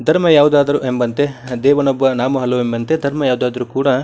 ಧರ್ಮ ಯಾವುದಾದರು ಎಂಬಂತೆ ದೇವನೊಬ್ಬ ನಾಮ ಹಲವು ಎಂಬಂತೆ ಧರ್ಮ ಯಾವುದಾದರು ಕೂಡ.